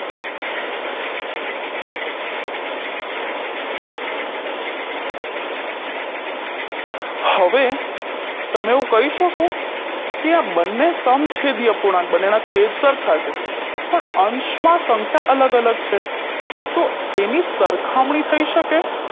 હવે તમે એવું કઈ શકો કે આ બંને સમછેદીય પૂર્ણાંક બંનેના છેદ સરખા છે પણ અંશમાં સંખ્યા અલગ અલગ છે તો તેની સરખામણી થઈ શકે